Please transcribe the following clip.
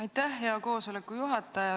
Aitäh, hea juhataja!